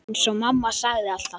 Eins og mamma sagði alltaf.